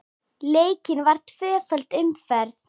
Leikin var tvöföld umferð.